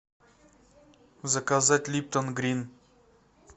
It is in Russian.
заказать липтон грин